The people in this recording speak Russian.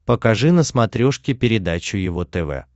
покажи на смотрешке передачу его тв